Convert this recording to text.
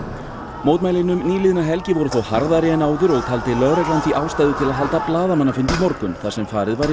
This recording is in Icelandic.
mótmælin um nýliðna helgi voru þó harðari en áður og taldi lögreglan því ástæðu til að halda blaðamannafund í morgun þar sem farið var yfir